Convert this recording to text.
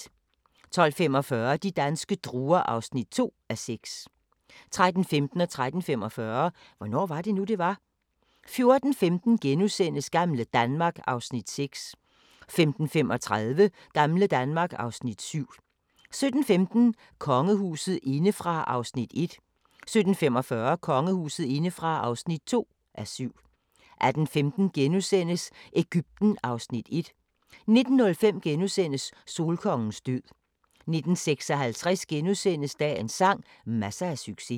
12:45: De danske druer (2:6) 13:15: Hvornår var det nu, det var? * 13:45: Hvornår var det nu, det var? 14:15: Gamle Danmark (Afs. 6)* 15:35: Gamle Danmark (Afs. 7) 17:15: Kongehuset indefra (1:7) 17:45: Kongehuset indefra (2:7) 18:15: Egypten (Afs. 1)* 19:05: Solkongens død * 19:56: Dagens sang: Masser af succes *